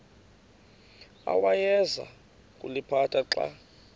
awayeza kuliphatha xa